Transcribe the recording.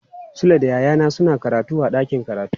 Sule da yayana suna karatu a dakin karatu.